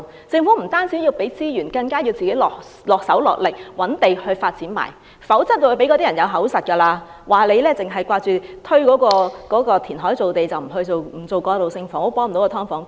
政府不單要投放資源，更要身體力行，覓地發展，否則便會予人口實，說政府只想填海造地而不肯發展過渡性房屋，幫不到"劏房"居民。